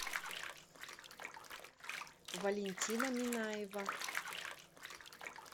валентина минаева